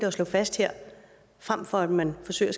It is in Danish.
at slå fast her frem for at man forsøger